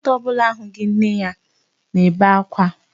Nwata ọ bụla ahụghị nne ya nebe akwa.